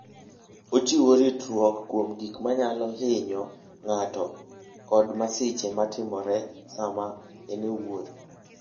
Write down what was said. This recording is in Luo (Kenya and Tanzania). Ochiwo ritruok kuom gik manyalo hinyo ng'ato kod masiche ma timore sama en e wuoth.